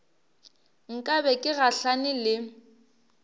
nka be ke gahlane le